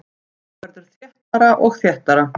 Þetta verður þéttara og þéttara.